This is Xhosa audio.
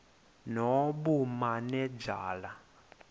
nobumanejala